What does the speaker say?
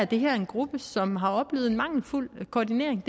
det her er en gruppe som har oplevet en mangelfuld koordinering og